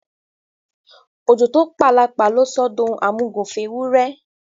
Òjò tó p’àlàpà ló sọ ọ d’ohun àmúgùn f’éwúrẹ